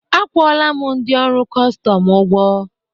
akwụla m ndị ọrụ kọstọm ụgwọ